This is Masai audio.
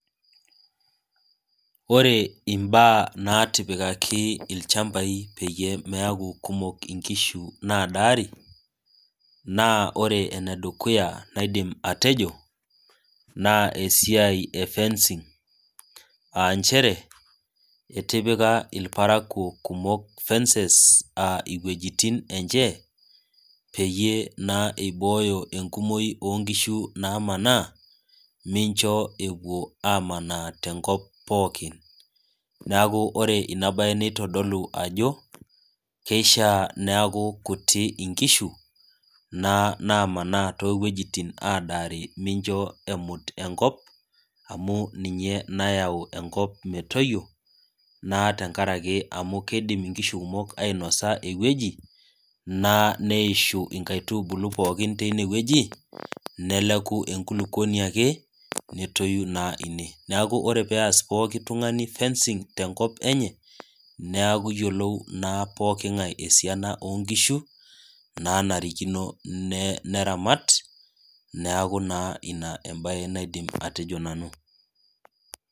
ore mbaa naatiipikaki ilchamapi peyie meeku kumok inkishu naadaari naa ore ene dukuya naidim atejo naa esiai efencing aa inchere etipika irparaakuo kumok fences, aa iwejitin eche pee iboyo enkumoi oo inkishu naamanaa, neeku ore inabaye nitodolu ajo, kishaa neeku kutik inkishu naa maanaa toowejitin adaa mincho emut enkop, amu ninye nayau enkop metoyio amu kidim inkishu kumok ainosa eweji neeishu inkaitubulu pooki tineweji, neleku enkulukuoni ake netoyu naa ine neeku kenarikino neyiolou oltung'ani inkishu enyanak eneba.